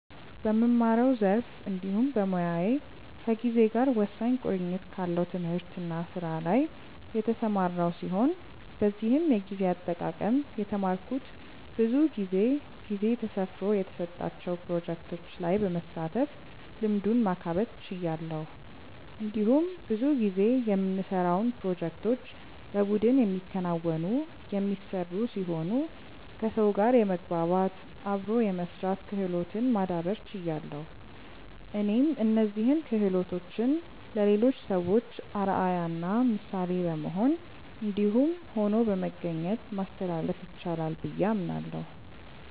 በምማረው ዘርፍ እንዲሁም በሞያዬ ከጊዜ ጋር ወሳኝ ቁርኝት ካለው ትምህርት እና ስራ ላይ የተሰማራው ሲሆን በዚህም የጊዜ አጠቃቀም የተማረኩት ብዙ ጊዜ ጊዜ ተሰፍሮ የተሰጣቸው ፕሮጀክቶች ላይ በመሳተፍ ልምዱን ማካበት ችያለሁ። እንዲሁም ብዙ ጊዜ የምንሰራውን ፕሮጀክቶች በቡድን የሚከናወኑ/የሚሰሩ ሲሆኑ ከሰው ጋር የመግባባት/አብሮ የመስራት ክህሎትን ማዳብር ችያለሁ። እኔም እነዚህን ክሆሎቶችን ለሌሎች ሰዎች አርአያ እና ምሳሌ በመሆን እንዲሁም ሆኖ በመገኘት ማስተላለፍ ይቻላል ብዬ አምናለሁ።